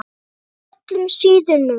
Með öllum síðunum?